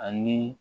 Ani